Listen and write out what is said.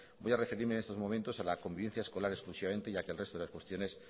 voy a referirme en estos momentos a la convivencia escolar exclusivamente ya que el resto de las cuestiones